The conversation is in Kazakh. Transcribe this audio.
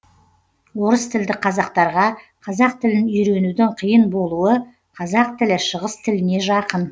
орыстілді қазақтарға қазақ тілін үйренудің қиын болуы қазақ тілі шығыс тіліне жақын